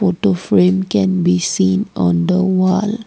photoframe can be seen on the wall.